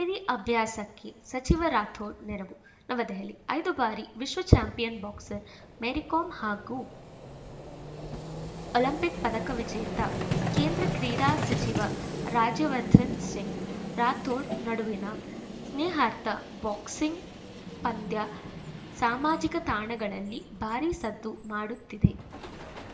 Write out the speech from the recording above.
ಮೇರಿ ಅಭ್ಯಾಸಕ್ಕೆ ಸಚಿವ ರಾಥೋಡ್‌ ನೆರವು ನವದೆಹಲಿ ಐದು ಬಾರಿ ವಿಶ್ವ ಚಾಂಪಿಯನ್‌ ಬಾಕ್ಸರ್‌ ಮೇರಿ ಕೋಮ್‌ ಹಾಗೂ ಒಲಿಂಪಿಕ್‌ ಪದಕ ವಿಜೇತ ಕೇಂದ್ರ ಕ್ರೀಡಾ ಸಚಿವ ರಾಜ್ಯವರ್ಧನ್‌ ಸಿಂಗ್‌ ರಾಥೋಡ್‌ ನಡುವಿನ ಸ್ನೇಹಾರ್ಥ ಬಾಕ್ಸಿಂಗ್‌ ಪಂದ್ಯ ಸಾಮಾಜಿಕ ತಾಣಗಳಲ್ಲಿ ಭಾರೀ ಸದ್ದು ಮಾಡುತ್ತಿದೆ